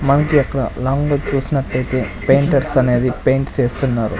మనకి అక్కడ లాంగ్ లో చూసినటైతే పెయింటర్స్ అనేది పెయింట్ చేస్తున్నారు.